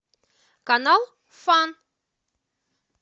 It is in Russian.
канал фан